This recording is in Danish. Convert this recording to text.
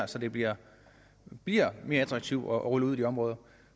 så det bliver bliver mere attraktivt at rulle det ud i de områder